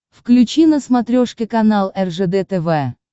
включи на смотрешке канал ржд тв